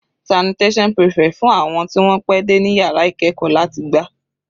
Sanitation prefect fún àwọn tí wọ́n pẹ́ dé ní yàrá ìkẹ́ẹ̀kọ́ láti gbá.